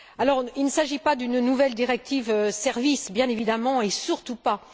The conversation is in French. Alors, il ne s'agit pas d'une nouvelle directive services bien évidemment, et surtout pas.